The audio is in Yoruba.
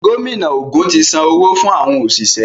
Gómìnà ògún tí Sàn owo fún àwọn oṣiṣẹ.